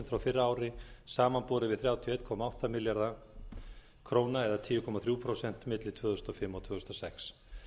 frá fyrra ári samanborið við þrjátíu og einn komma átta milljarða króna milli tvö þúsund og fimm og tvö þúsund og sex